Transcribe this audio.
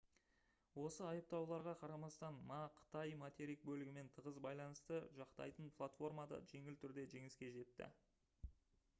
осы айыптауларға қарамастан ма қытай материк бөлігімен тығыз байланысты жақтайтын платформада жеңіл түрде жеңіске жетті